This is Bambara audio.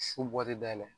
Su bɔli dayɛlɛ